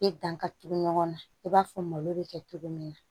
I dan ka tugu ɲɔgɔn na i b'a fɔ malo bɛ kɛ cogo min na